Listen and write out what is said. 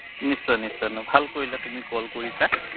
নিশ্চয় নিশ্চয় নো ভাল কৰিলে তুমি কৰিলা তুমি call কৰিছা